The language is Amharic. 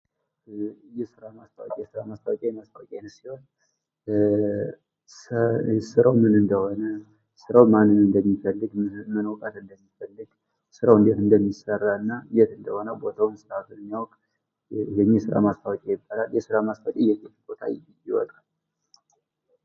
የስራ ማስታወቂያ፡- የስራ ማስታወቂያ የማስታወቂያ ዓይነት ሲሆን ስራው ምን እንደሆነ ስራው ማንን እንደሚፈልግ ምን እውቀት እንደሚፈልግ ስራው እንዴት እንደሚሰራና የት እንደሆነ ቦታው የሚያውቅ ይህ የስራ ማስታወቂያ ይባላል ። የስራ ማስታወቂያ የት የት ቦታ ይወጣል።